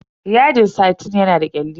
Yadin satin yana da kyalli.